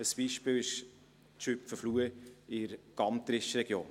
Ein Beispiel ist die Schüpfenfluh in der Gantrischregion.